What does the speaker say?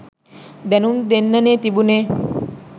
දැනුම් දෙන්නනේ තිබුණේ.